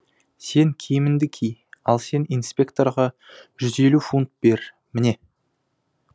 сен киіміңді ки ал сен инспекторға жүз елу фунт бер міне